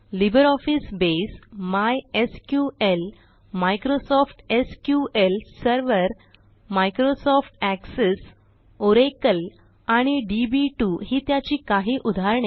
LibreOffice बसे MySQL Microsoft SQL server Microsoft access Oracle आणि DB two ही त्याची काही उदाहरणे